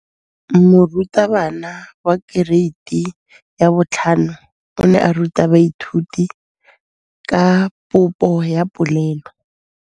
Moratabana wa kereiti ya 5 o ne a ruta baithuti ka popô ya polelô.